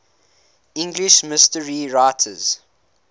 english mystery writers